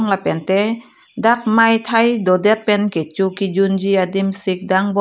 lapen te dak mai thai do det pen kecho kejun ji adim sing dang bom.